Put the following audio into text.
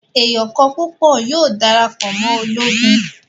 Èèyàn kọ̀ọ̀kan púpọ̀ yóò dara pọ̀ mọ́ ológo